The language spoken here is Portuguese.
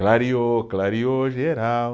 Clareou, clareou geral